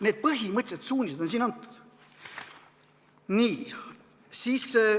Need põhimõttelised suunised on siin antud.